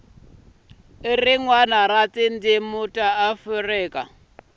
rin wana ra tindzimi ta